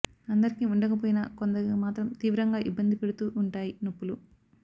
అందరికి ఉండకపోయినా కొందరికి మాత్రం తీవ్రంగా ఇబ్బంది పెడుతూ ఉంటాయి నొప్పులు